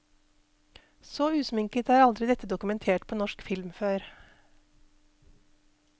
Så usminket er aldri dette dokumentert på norsk film før.